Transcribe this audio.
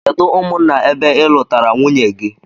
Kedu umụnna ebe ilụtara nwunye gi?